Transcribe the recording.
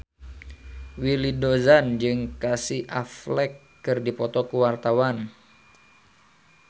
Willy Dozan jeung Casey Affleck keur dipoto ku wartawan